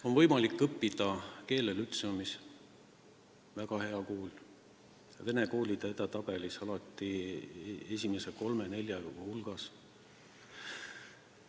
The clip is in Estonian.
On võimalik õppida keeltelütseumis, see on väga hea kool, vene koolide edetabelis alati esimese kolme-nelja hulgas.